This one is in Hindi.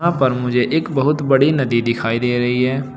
यहां पर मुझे एक बहुत बड़ी नदी दिखाई दे रही है।